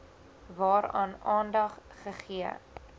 waaraan aandag gegee